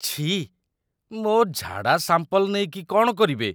ଛିଃ । ମୋ' ଝାଡ଼ା ସାମ୍ପଲ୍ ନେଇକି କ'ଣ କରିବେ?